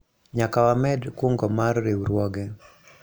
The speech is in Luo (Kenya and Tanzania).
nyaka wamed kungo mar riwruoge